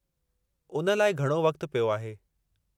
उन लाइ घणो वक़्तु पियो आहे।